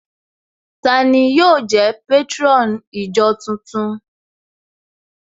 Tani yóò jẹ́ patron ìjọ tuntun?